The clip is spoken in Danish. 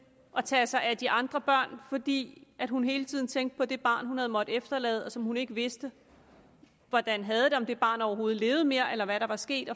at tage sig af de andre børn fordi hun hele tiden tænkte på det barn som hun havde måttet efterlade og som hun ikke vidste hvordan havde det om det barn overhovedet levede mere eller hvad der var sket